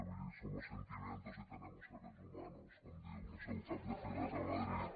vull dir somos sentimientos y tenemos seres humanos com diu lo seu cap de files a madrid